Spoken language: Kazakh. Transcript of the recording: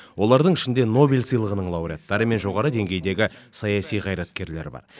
олардың ішінде нобель сыйлығының лауреаттары мен жоғары деңгейдегі саяси қайраткерлер бар